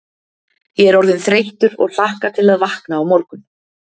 Ég er orðinn þreyttur og hlakka til að vakna á morgun.